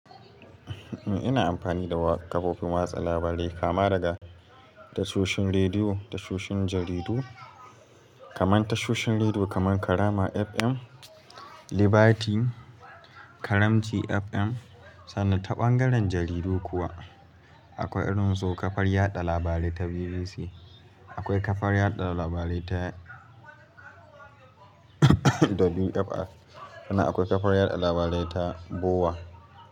Ina amfani da kafofin watsa labarai kama daga tashoshin rediyo, tashoshin jaridu kaman tashoshin rediyo kaman Karama FM, Liberty, Karamci FM sannan ta ɓangaren jaridu kuwa akwai irin su kafar yada labarai ta BBC, akwai kafar yada labarai ta WFR sannan akwai kafar yada labarai ta BOWA.